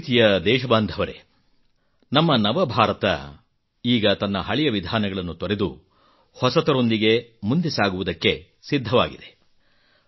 ನನ್ನ ಪ್ರೀತಿಯ ದೇಶಬಾಂಧವರೇ ನಮ್ಮ ನವಭಾರತ ಈಗ ತನ್ನ ಹಳೆಯ ವಿಧಾನಗಳನ್ನು ತೊರೆದು ಹೊಸತರೊಂದಿಗೆ ಮುಂದೆ ಸಾಗುವುದಕ್ಕೆ ಸಿದ್ಧವಾಗಿದೆ